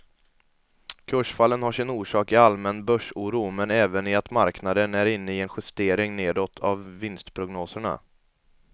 Kursfallen har sin orsak i allmän börsoro men även i att marknaden är inne i en justering nedåt av vinstprognoserna.